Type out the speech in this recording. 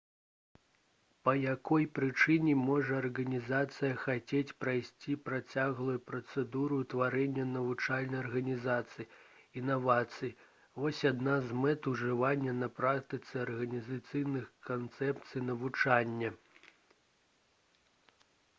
па якой прычыне можа арганізацыя хацець прайсці працяглую працэдуру ўтварэння навучальнай арганізацыі інавацыі вось адна з мэт ужывання на практыцы арганізацыйных канцэпцый навучання